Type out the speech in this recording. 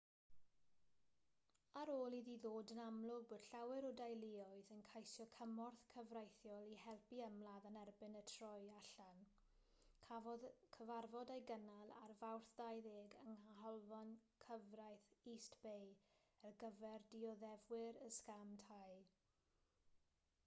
ar ôl iddi ddod yn amlwg bod llawer o deuluoedd yn ceisio cymorth cyfreithiol i helpu ymladd yn erbyn y troi allan cafodd cyfarfod ei gynnal ar fawrth 20 yng nghanolfan gyfraith east bay ar gyfer dioddefwyr y sgam tai